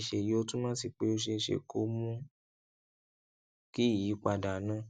láti ṣe èyí ó túmọ sí pé ó ṣeé ṣe kó o mú kí ìyípadà náà